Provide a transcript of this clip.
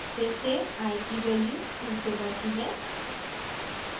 फिर से i की value 2 से बढती है